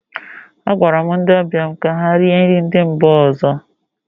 Agwara m ndị ọbịa mụ ka ha rie nri ndị mba ọzọ